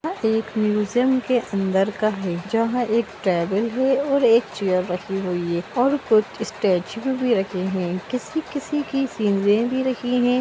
Museum के अंदर का है जहाँ एक टेबल है और एक चेयर रखी हुई है और कुछ स्टैचू भी रखे हुए किसी-किसी भी रखी है।